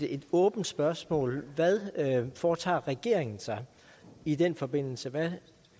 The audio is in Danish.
et åbent spørgsmål hvad foretager regeringen sig i den forbindelse hvad